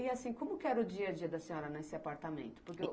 E assim, como que era o dia a dia da senhora nesse apartamento? Por que o